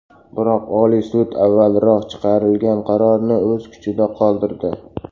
Biroq Oliy sud avvalroq chiqarilgan qarorni o‘z kuchida qoldirdi.